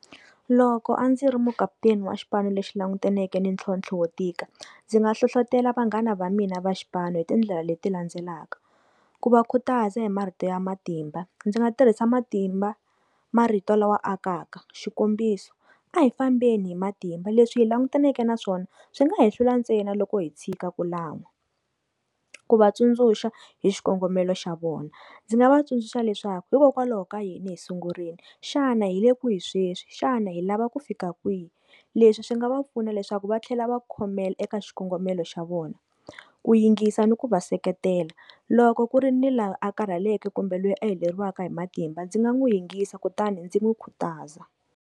Loko a ndzi ri mukaputeni wa xipano lexi langutaneke ni ntlhontlho wo tika ndzi nga hlohlotelo vanghana va mina va xipano hi tindlela leti landzelaka, ku va khutaza hi marito ya matimba ndzi nga tirhisa matimba marito la wa akaka xikombiso a hi fambeni hi matimba leswi hi langutaneke na swona swi nga hi hlula ntsena loko hi tshika ku lan'wa, ku va tsundzuxa hi xikongomelo xa vona ndzi nga va tsundzuxa leswaku hikokwalaho ka yini hi sungurile xana hile ku hi sweswi xana hi lava ku fika kwihi leswi swi nga va pfuna leswaku va tlhela va khomela eka xikongomelo xa vona ku yingisa ni ku va seketela loko ku ri ni laha a karheleke kumbe loyi a hakeleriwaka hi matimba ndzi nga n'wi yingisa kutani ndzi n'wi khutaza.